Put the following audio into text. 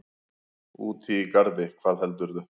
Úti í garði, hvað heldurðu!